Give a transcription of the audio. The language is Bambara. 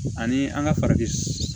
Ani an ka farafin